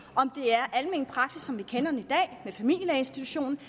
om det er almen praksis som vi kender det i familielægeinstitutionen